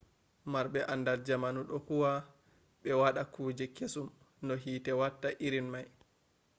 marbe andal jamanu do huwa be wada kuje kesum no hite watta irin mai